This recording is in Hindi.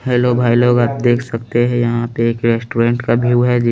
हेलो भाई लोग आप देख सकते है यहाँ पे एक रेस्टुरेंट का भिऊ है जिन--